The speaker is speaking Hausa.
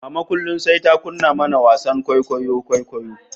Mama kullum sai ta kunna mana wasan kwaikwayon kwaikwayo